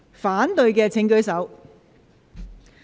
反對的請舉手。